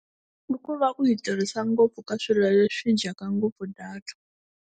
I ku va ku yi tirhisa ngopfu ka swilo leswi dyaka ngopfu data.